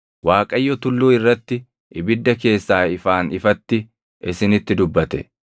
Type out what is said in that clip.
Waaqayyo tulluu irratti ibidda keessaa ifaan ifatti isinitti dubbate.